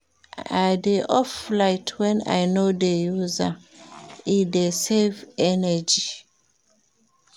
I dey off light wen I no dey use am, e dey save energy.